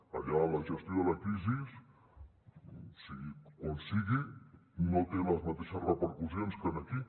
allà la gestió de la crisi sigui com sigui no té les mateixes repercussions que aquí